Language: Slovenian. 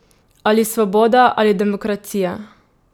Ali svoboda ali demokracija?